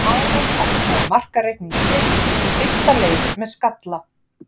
Aron opnaði markareikning sinn í fyrsta leik með skalla.